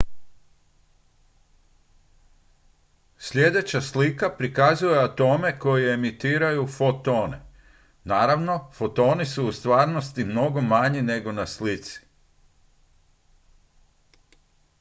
sljedeća slika prikazuje atome koji emitiraju fotone naravno fotoni su u stvarnosti mnogo manji nego na slici